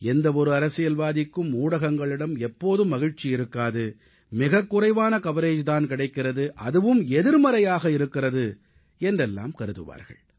எந்த ஒரு அரசியல்வாதிக்கும் ஊடகங்களிடம் எப்போதும் மகிழ்ச்சி இருக்காது மிக குறைவான கவரேஜ் தான் கிடைக்கிறது அதுவும் எதிர்மறையாக இருக்கிறது என்றெல்லாம் கருதுவார்கள்